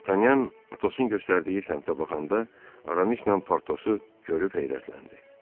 Dartanyan Atosun göstərdiyi səmtə baxanda Aramislə Portosu görüb heyrətləndi.